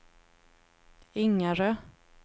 Ingarö